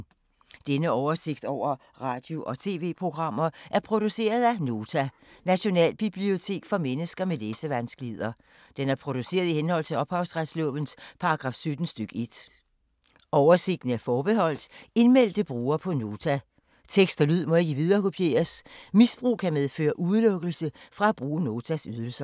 Denne oversigt over radio og TV-programmer er produceret af Nota, Nationalbibliotek for mennesker med læsevanskeligheder. Den er produceret i henhold til ophavsretslovens paragraf 17 stk. 1. Oversigten er forbeholdt indmeldte brugere på Nota. Tekst og lyd må ikke viderekopieres. Misbrug kan medføre udelukkelse fra at bruge Notas ydelser.